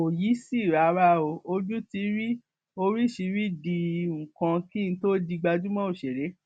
kò yìísì rárá o ojú ti rí oríṣirídìí nǹkan kí n tóó di gbajúmọ òṣèré